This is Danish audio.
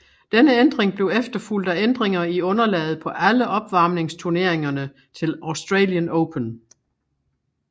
Denne ændring blev efterfulgt af ændringer i underlaget på alle opvarmningsturneringerne til Australian Open